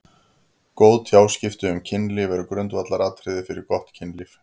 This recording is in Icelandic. Góð tjáskipti um kynlíf eru grundvallaratriði fyrir gott kynlíf.